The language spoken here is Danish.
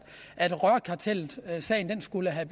at rørkartelsagen skulle have